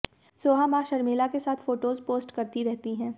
सोहा मां शर्मिला के साथ फोटोज पोस्ट करती रहती है